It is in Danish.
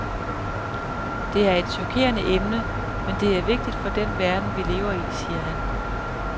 Det er et chokerende emne, men det er vigtigt for den verden, vi lever i, siger han.